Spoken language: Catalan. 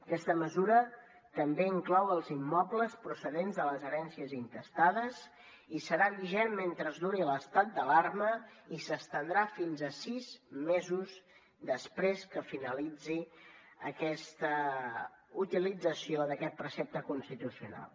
aquesta mesura també inclou els immobles procedents de les herències intestades i serà vigent mentre duri l’estat d’alarma i s’estendrà fins a sis mesos després que finalitzi aquesta utilització d’aquest precepte constitucional